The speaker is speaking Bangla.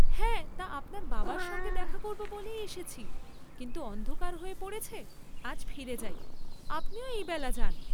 হ্যাঁ তা আপনার বাবার সঙ্গে দেখা করব বলেই এসেছি, কিন্তু অন্ধকার হয়ে পড়েছে, আজ ফিরে যাই, আপনিও এইবেলা যান্।